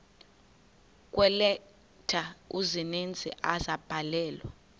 kweeleta ezininzi ezabhalelwa